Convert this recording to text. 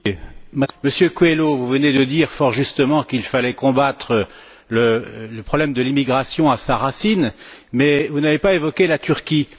Madame la Présidente, Monsieur Coelho vous venez de dire fort justement qu'il fallait combattre le problème de l'immigration à sa racine, mais vous n'avez pas évoqué la Turquie.